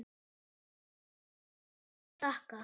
Ekkert að þakka